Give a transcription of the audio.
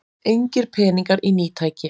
Engir peningar í ný tæki